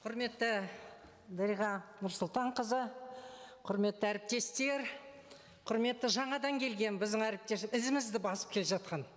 құрметті дариға нұрсұлтанқызы құрметті әріптестер құрметті жаңадан келген біздің ізімізді басып келе жатқан